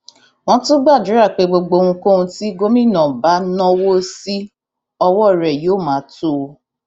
wọn tún gbàdúrà pé gbogbo ohunkóhun tí gómìnà bá náwó sí ọwọ rẹ yóò máa tó o